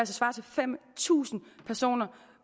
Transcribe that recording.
svare til fem tusind personer